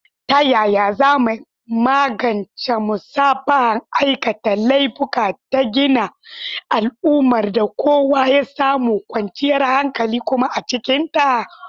Ta yaya za mu magance musabbabin aikata laifuka da gina al’ummar da kowa ya samu kwanciyar hankali kuma a cikinta?